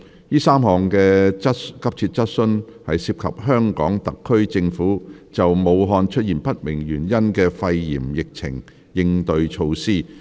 該3項急切質詢均涉及香港特區政府就武漢出現不明原因的肺炎疫情的應對措施。